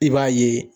I b'a ye